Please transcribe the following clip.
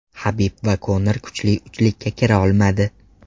Habib va Konor kuchli uchlikka kira olmadi.